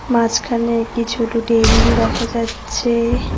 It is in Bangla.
মাঝখানে একটি ছোট টেবিল দেখা যাচ্ছে।